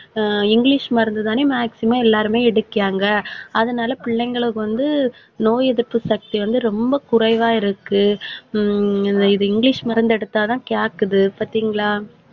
ஆஹ் English மருந்துதானே maximum எல்லாருமே எடுக்கிறாங்க. அதனால பிள்ளைங்களுக்கு வந்து நோய் எதிர்ப்பு சக்தி வந்து ரொம்ப குறைவா இருக்கு. ஹம் இது இங்கிலிஷ் மருந்து எடுத்தாதான் கேக்குது பாத்தீங்களா?